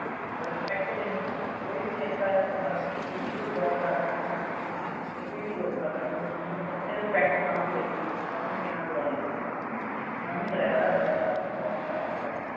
respect ਦੇਣੀ ਸਿੱਖੋ, ਕੋਈ ਵੀ ਕਿੱਤਾ ਹੈ ਤੁਹਾਡਾ ਤੁਸੀਂ ਕੋਈ job ਕਰਦੇ ਹੋ, ਤੁਸੀਂ ਕਿਤੇ ਵੀ job ਕਰ ਰਹੇ ਹੋ, ਅਗਰ ਤੁਹਾਨੂੰ ਉੱਥੇ respect ਨਾ ਮਿਲੇ, ਤਾਂ ਤੁਹਾਨੂੰ ਕਿੰਨਾ ਬੁਰਾ ਲੱਗੂਗਾ। ਉਵੇਂ driver ਆਂ, driver ਆਪਣੀ job ਕਰ ਰਿਹਾ।